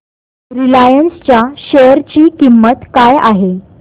Reliance च्या share ची किंमत काय आहे